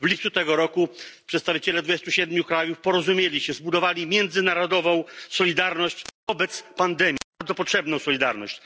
W lipcu tego roku przedstawiciele 27 krajów porozumieli się, zbudowali międzynarodową solidarność wobec pandemii bardzo potrzebną solidarność.